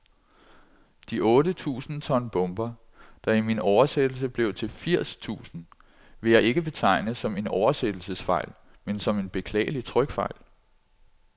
De otte tusind ton bomber, der i min oversættelse blev til firs tusind, vil jeg ikke betegne som en oversættelsesfejl, men som en beklagelig trykfejl.